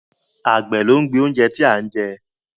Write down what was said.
Àgbẹ̀ ló ń gbin ohun tí a ń jẹ